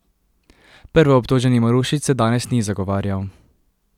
Prvoobtoženi Marušič se danes ni zagovarjal.